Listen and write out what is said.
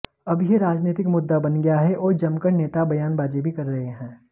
अब यह राजनीतिक मुद्दा बन गया है और जमकर नेता बयानबाजी भी कर रहै हैं